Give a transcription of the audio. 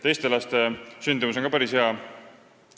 Teiste laste sündimus on ka päris hea.